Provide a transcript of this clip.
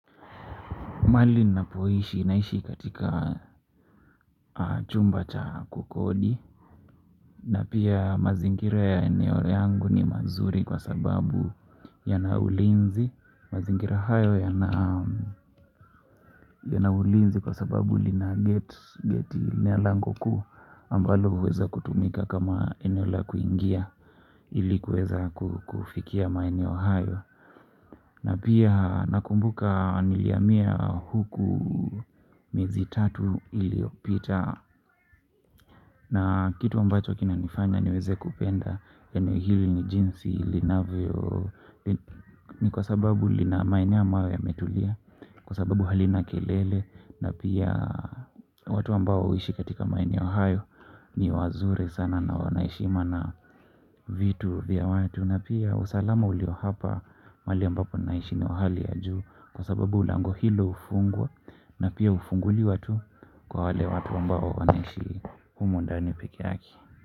Mahali ninapoishi naishi katika chumba cha kukodi. Na pia mazingira ya eneo yangu ni mazuri kwa sababu yana ulinzi mazingira hayo yana yana ulinzi kwa sababu lina geti ni ya lango kuu ambalo huweza kutumika kama eneo la kuingia ili kuweza kufikia maeneo hayo. Na pia nakumbuka nilihamia huku miezi tatu iliopita. Na kitu ambacho kinanifanya niweze kupenda eneo hili ni jinsi linavyo. Ni kwa sababu lina maeneo ambayo yametulia kwa sababu halina kelele na pia watu ambao huishi katika maeneo hayo. Ni wazuri sana na wana heshima na vitu vya watu. Na pia usalama ulio hapa mahali ambapo ninaishi ni wa hali ya juu kwa sababu lango hilo hufungwa na pia hufunguliwa tu kwa wale watu ambao wanaishi humu ndani peke yake.